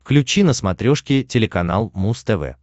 включи на смотрешке телеканал муз тв